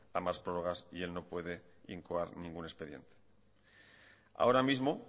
a más prórrogas y el no puede incoar ningún expediente ahora mismo